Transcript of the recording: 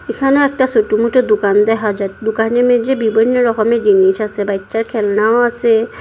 এখানেও একটা ছোট মটো দুকান দেহা যায় দুকানের মাইঝে বিভিন্ন রকমের জিনিস আসে বাইচ্চার খেলনাও আসে ।